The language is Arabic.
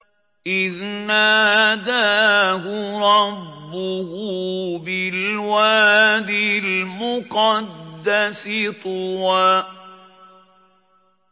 إِذْ نَادَاهُ رَبُّهُ بِالْوَادِ الْمُقَدَّسِ طُوًى